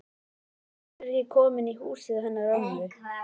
Hingað er ég komin í húsið til hennar ömmu.